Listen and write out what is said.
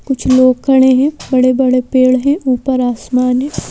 कुछ लोग खड़े हैं बड़े-बड़े पेड़ हैं ऊपर आसमान है।